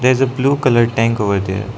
is a blue colour tank over there.